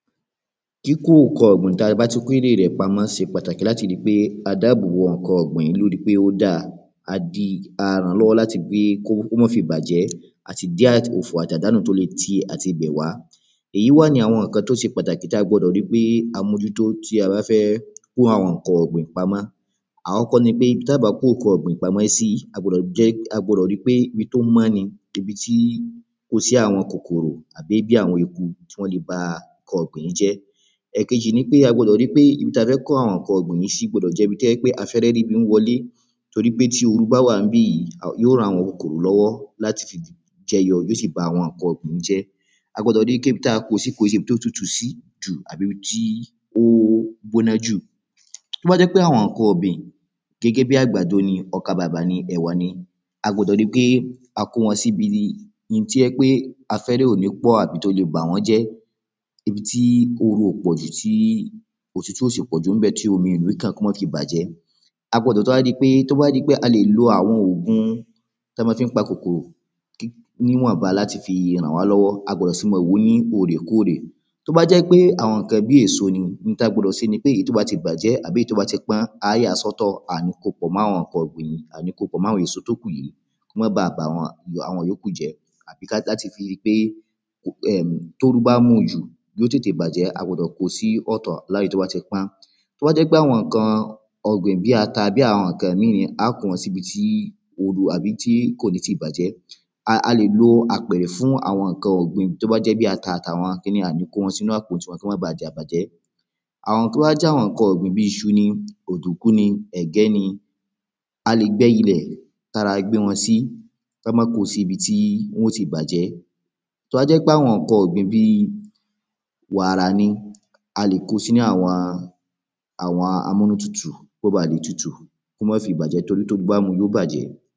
Kíkọ ǹkan ọ̀gbìn tí a bá ti kó ère rẹ̀ pamọ́ ṣe pàtàkì láti ríi pé a dáàbò bo ǹkan ọ̀gbìn yìí lóri pé ó dáa á di a ràn lọ́wọ́ láti pé kó ma fi bàjẹ́ àti dí òfò àti àdánù tó lè ti ibẹ̀ wá èyi wá ni àwọn ǹkan tó ṣe pàtàkì ta gbọdọ̀ ri pé a mójú tó tí a bá fẹ kó àwọn ǹkán ọ̀gbìn pamọ́, àkọ́kọ́ ni pé ibi tí a bá kó ǹkan ọ̀gbìn sí, ó gbọ̀dọ̀ jẹ́ wípé ibi tó mọ́ ni, ibi tí kò sí àwọn kòkòrò tàbí àwọn eku tí wọ́n lè gbé awọn ǹkan ọ̀gbìn yìí jẹ afẹ́rẹ́ ríbi wọlé torípé tóru bá wà níbẹ̀ yóò ran àwọn kòkòrò lọ́wọ́ láti jẹyọ yóò sì bá àwọn ǹkán ọ̀gbìn yìí jẹ́ a gbọdọ̀ ríi pé ibi tí a kóo ś kó ǹ ṣe ibi tí ó tutù jù tàbí ibi tí ó gbóná jù Tó bá jẹ́ wípé àwọn ǹkan ọ̀gbìn gẹ́gẹ́ bí àgbàdo ni ,ọkà bàbà ni ẹ̀wà ni a gbọ́dọ̀ ríi pé a kó wọn síbi tó jẹ́ wípé afẹ́rẹ́ ò ní pọ̀ àbí tó lè bà wọ́n jẹ́, ibi tí oru ò pọ̀jù tí otútù ò sì pọ̀jù níbẹ̀ tí omi ò ní kàn kó má fi bàjẹ́ a gbọdọ̀ tún wá ríi pé ta bá ri pé a lè lo àwọn ògùn ta ma fi ń pa kòkòrò níwọ̀nba láti fi ràn wọ́n lọ́wọ́, a gbọdọ̀ sì máa wòó ní òòrè kóòrè tó bá jẹ́ àwọn ǹkan bí èso ni ǹkan tí a gbọ́dọ̀ ṣe ni pé èyí tó bá ti pọ́n tàbí tó bá ti bàjẹ́ a yà sì ọ̀tọ̀ aà ní kóo pọ̀ mọ́ àwọn ǹkan ọ̀gbìn yìí, a ní ko pọ̀ mọ́ àwọn èso tó kù yii kó má baà bá àwọn ìyókù jẹ́ láti fi ríi wípé tóru bá ń mu jù yóò tètè bàjẹ́, a gbọ́dọ̀ kóo sí ọ̀tọ̀ lẹ́yìn tó bá ti pọ́n tó bá jẹ́ àwọn ǹkan ọ̀gbìn bíi ata tàbí ǹkan míì àá kó won sì ibi tí oru tàbí ibi tí kò ní ti bàjẹ́, a lè lo apẹ̀rẹ̀ fún àwọn ǹkan ọ̀gbìn yìí tó bá jẹ́ bíi ata tàbí ǹkán míràn kó má baà bàjẹ́ tó bá jẹ́ àwọn ǹkan ọ̀gbìn bíi iṣu ni ọ̀dùnkún ni ẹ̀gẹ́ ni a lè gbé ilé tí a rà gbé wọn sí ká má kóo síbi tí wọ́n ti bàjẹ́ tó bá jẹ́ ǹkan ọ̀gbìn bíi wàrà ni a lè kóo sínu àwọn amúnútutù kó bá lè tutù kó má fi bàjẹ́ torí tóru bá múu yóò bàjẹ́